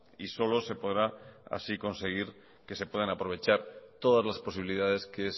y solo se podrá así conseguir que se puedan aprovechar todas las posibilidades que